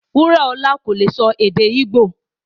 Wuraọla kò lè sọ èdè Ìbọ̀